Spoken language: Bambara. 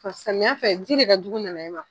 Fɔ samiya fɛ, ji de ka jugu nanaye man.